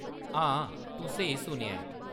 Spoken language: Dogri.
हां, तूं स्हेई सुनेआ ऐ।